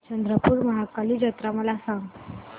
चंद्रपूर महाकाली जत्रा मला सांग